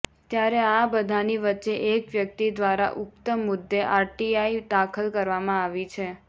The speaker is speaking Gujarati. ત્યારે આ બધાની વચ્ચે એક વ્યક્તિ દ્વારા ઉક્ત મુદ્દે આરટીઆઇ દાખલ કરવામાં આવી છે